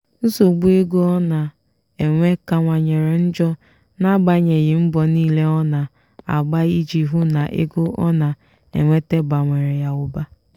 nsogbu ego ọ na-enwe kanwanyere njọ n'agbanyeghị mbọ niile ọ na-agba iji hụ na ego ọ na-enweta bawanyere ụba.